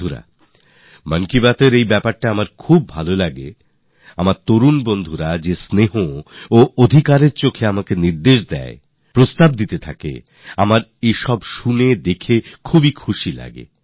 বন্ধুরা মনের কথা অনুষ্ঠানের এই ব্যাপারটাই আমার খুব ভালো লাগে আমার নবীন বন্ধু আমাকে যে অধিকার আর ভালোবাসা নিয়ে আপনারা অভিযোগ করেন আদেশ দেন পরামর্শ দেন এসব দেখে আমি খুব আনন্দ পাই